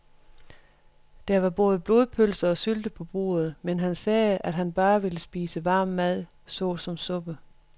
Der var både blodpølse og sylte på bordet, men han sagde, at han bare ville spise varm mad såsom suppe.